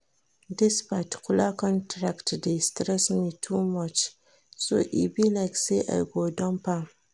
Dis particular contract dey stress me too much so e be like say I go dump am